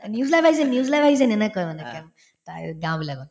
news live আহিছে news live আহিছে এনেকৈ মানে তাৰপিছত গাওঁ বিলাকত